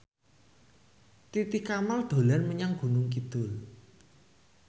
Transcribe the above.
Titi Kamal dolan menyang Gunung Kidul